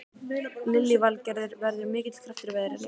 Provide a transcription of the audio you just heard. Lillý Valgerður: Verður mikill kraftur í veðrinu?